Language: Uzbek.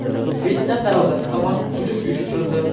Vyetnam darvozasi tomon hujum uyushtirildi.